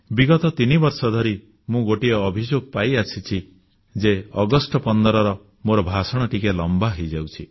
ବିଗତ ତିନିବର୍ଷ ଧରି ମୁଁ ଗୋଟିଏ ଅଭିଯୋଗ ପାଇଆସିଛି ଯେ ଅଗଷ୍ଟ 15ର ମୋର ଭାଷଣ ଟିକିଏ ଲମ୍ବା ହୋଇଯାଉଛି